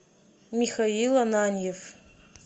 михаил ананьев